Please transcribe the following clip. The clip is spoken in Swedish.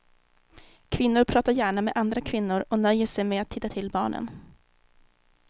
Kvinnor pratar gärna med andra kvinnor och nöjer sig med att titta till barnen.